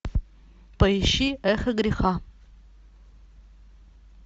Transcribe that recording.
поищи эхо греха